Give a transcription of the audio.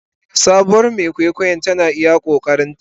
Sabuwar Mai kwaikwayon tana yin iya ƙoƙarinta.